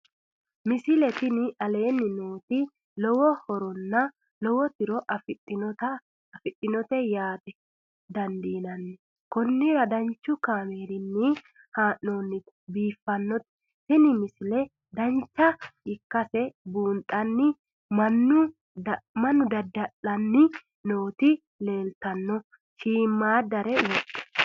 misile tini aleenni nooti lowo horonna lowo tiro afidhinote yaa dandiinanni konnira danchu kaameerinni haa'noonnite biiffannote tini misile dancha ikkase buunxanni mannu dada'lanni nooti leeltanno shiimmadare wodhe